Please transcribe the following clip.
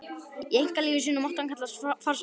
Í einkalífi sínu mátti hann kallast farsæll.